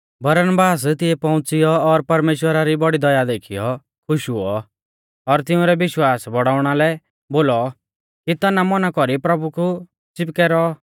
बरनबास तिऐ पौउंच़िऔ और परमेश्‍वरा री बौड़ी दया देखीयौ खुश हुऔ और तिंउरै विश्वास बौड़ाउणा लै बोलौ कि तनामौना कौरी प्रभु कु च़िपकै रौऔ